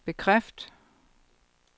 bekræft